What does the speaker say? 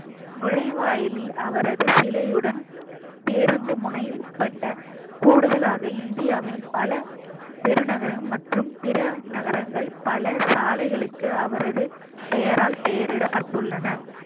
நுழைவாயிலில் அவரது சிலையுடன் பேருந்து முனை உட்பட்ட கூடுதலாக இந்தியாவின் பல பெருநகரம் மற்றும் பிற நகரங்கள் பல சாலைகளுக்கு அவரது பெயரால் பெயரிடப்பட்டுள்ளன